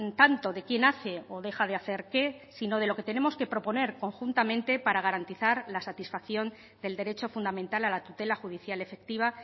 tanto de quién hace o deja de hacer qué sino de lo que tenemos que proponer conjuntamente para garantizar la satisfacción del derecho fundamental a la tutela judicial efectiva